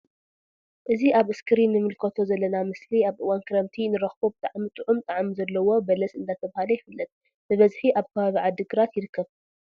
እዚ ኣብ እስክሪን ንምልከቶ ዘለና ምስሊ ኣብ አዋን ክረምቲ እንረክቦ ብጣዕሚ ጥዑም ጣዕሚ ዘለዎ በለስ እንዳተብሃለ ይፍለጥ። ብ በዝሒ ኣብ ከባቢ ዓዲ ግራት ይርከብ።